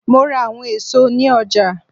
Mo ra awọn èso ni ọja.